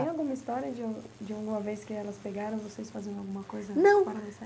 Tem alguma história de uma de uma vez que elas pegaram vocês fazendo alguma coisa Não Fora da série?